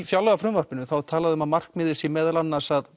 fjárlagafrumvarpinu þá er talað um að markmiðið sé meðal annars að